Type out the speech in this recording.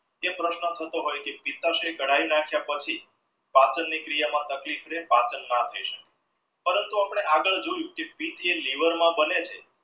એ પ્રશ્ન થતો હોય કઢાઈ નાખ્યા પછી પાચનની ક્રિયા માં તકલીફ રે પાછળના થઈ શકે પરંતુ આપણે આગળ જોયું જે liver મા બને છે